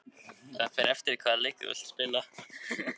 Hergils, hvaða leikir eru í kvöld?